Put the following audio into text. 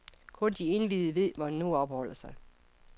Kun de indviede ved, hvor han nu opholder sig.